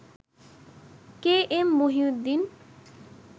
কে M Mohiuddin